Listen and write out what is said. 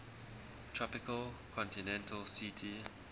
tropical continental ct